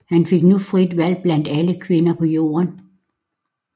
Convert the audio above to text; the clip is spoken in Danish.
Han fik nu frit valg blandt alle kvinder på jorden